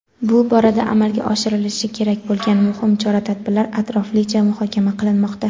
bu borada amalga oshirilishi kerak bo‘lgan muhim chora-tadbirlar atroflicha muhokama qilinmoqda.